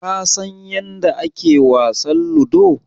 Ka san yanda ake wasan Ludo?